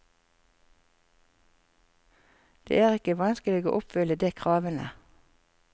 Det er ikke vanskelig å oppfylle de kravene.